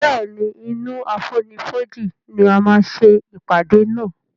Béèni inú àfonífojì ní a má ṣe ìpàdé nà.